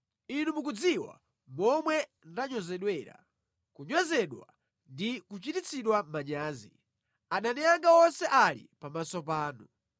Inu mukudziwa momwe ndanyozedwera, kunyozedwa ndi kuchititsidwa manyazi; adani anga onse ali pamaso panu.